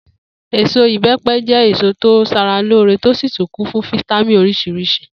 Èso ìbé̩pe̩ jé̩ èso tó ń s̩aralóore tó sì kún fún fítámì orís̩irís̩i